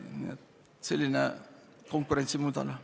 Nii et selline konkurentsimudel.